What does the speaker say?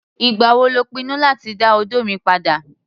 Ìgbà wo lò ń pinnu láti dá odó mi padà?